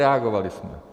Reagovali jsme.